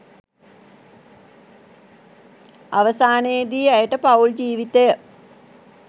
අවසානයේදී ඇයට පවුල් ජීවිතය